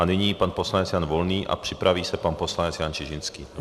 A nyní pan poslanec Jan Volný a připraví se pan poslanec Jan Čižinský.